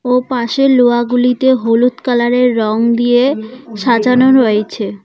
ও পাশের লোহাগুলিতে হলুদ কালারের রং দিয়ে সাজানো রয়েছে।